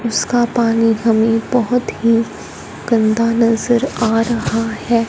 उसका पानी हमे बहोत ही गंदा नजर आ रहा है।